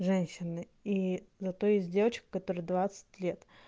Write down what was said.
женщины и зато есть девочка которой двадцать лет